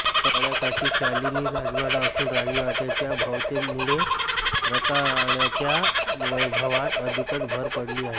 तळयाकाठी शालिनी राजवाडा असून राजवाडयाच्या भव्यतेमुळे रंकाळयाच्या वैभवात अधिकच भर पडली आहे